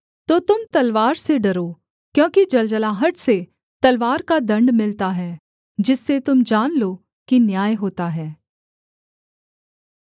तो तुम तलवार से डरो क्योंकि जलजलाहट से तलवार का दण्ड मिलता है जिससे तुम जान लो कि न्याय होता है